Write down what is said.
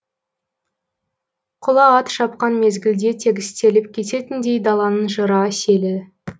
құла ат шапқан мезгілде тегістеліп кететіндей даланың жыра селі